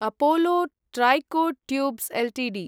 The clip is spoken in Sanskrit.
Apollo Tricot Tubes Ltd